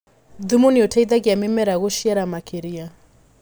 Thumu nĩũteithagia mĩmera gũciara makĩria.